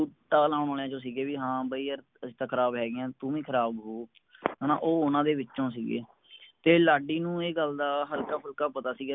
ਸੀਗੇ ਹਾਂ ਬਾਈ ਯਾਰ ਅਸੀਂ ਤਾ ਖਰਾਬ ਹੈਗੇ ਆ ਤੂੰ ਵੀ ਖਰਾਬ ਹੋਉ ਹੈਨਾ ਉਹ ਓਹਨਾ ਦੇ ਵਿਚੋਂ ਸੀਗੇ ਤੇ ਲਾਡੀ ਨੂੰ ਏ ਗੱਲ ਦਾ ਹਲਕਾ ਫੁਲਕਾ ਪਤਾ ਸਿਗਾ